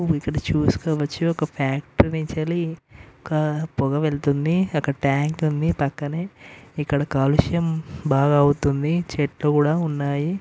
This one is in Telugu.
ఇక్కడ చూస్కోవచ్చు ఒక ఫ్యాక్టరీ నుంచయితే పొగ వెళ్తోంది అక్కడ ట్యాంక్ ఉంది పక్కనే ఇక్కడ కాలుష్యం బాగా అవుతుంది చెట్లు కూడా ఉన్నాయి.